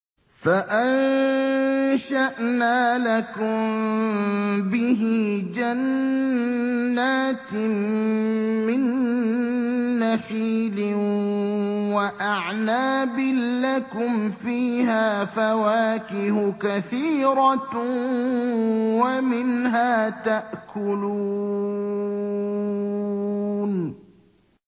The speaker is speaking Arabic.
فَأَنشَأْنَا لَكُم بِهِ جَنَّاتٍ مِّن نَّخِيلٍ وَأَعْنَابٍ لَّكُمْ فِيهَا فَوَاكِهُ كَثِيرَةٌ وَمِنْهَا تَأْكُلُونَ